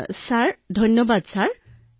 লাৱণ্যঃ ধন্যবাদ মহোদয়